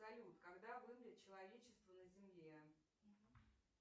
салют когда вымрет человечество на земле